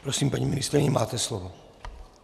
Prosím, paní ministryně, máte slovo.